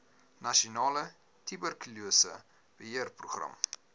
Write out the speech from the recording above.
nasionale tuberkulose beheerprogram